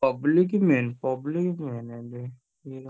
Public